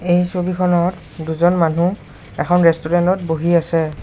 এই ছবিখনত দুজন মানুহ এখন ৰেষ্টোৰেন্তত বহি আছে।